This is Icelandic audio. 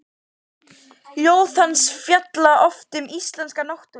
Ljóð hans fjalla oft um íslenska náttúru.